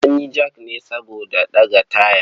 An yi jak ne saboda ɗaga taya.